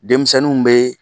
Denmisɛnnu be